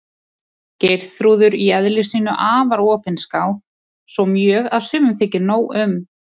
Geirþrúður í eðli sínu afar opinská, svo mjög að sumum þykir nóg um.